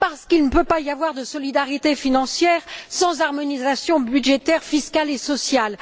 Parce qu'il ne peut pas y avoir de solidarité financière sans harmonisation budgétaire, fiscale et sociale.